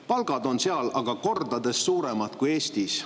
Palgad on seal aga kordades suuremad kui Eestis.